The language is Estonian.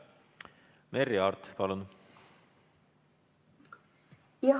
Merry Aart, palun!